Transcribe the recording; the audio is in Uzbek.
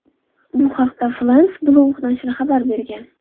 Bu haqda France Bleu nashri xabar bergan .